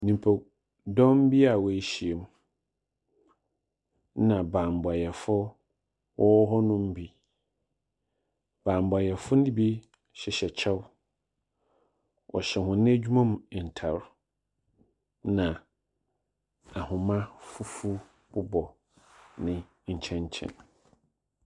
Nyimpadɔm bi a woehyia mu. Na banbɔfo wɔwɔ hɔnom bi. Banbɔfo no bi hyehyɛ kyɛw. Wɔhyɛ hɔn edwuma mu ntar. Na ahoma fufuw bobɔ ne nkyɛn nkyɛn.